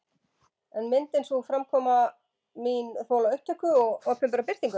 En myndi sú framkoma mín þola upptöku og opinbera birtingu?